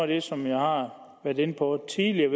det som jeg har været inde på tidligere